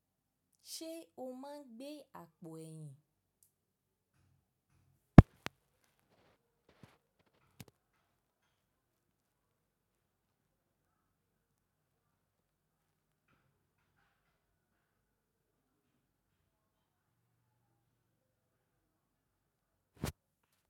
Ṣé o máa gbé àpò ẹ̀yìn?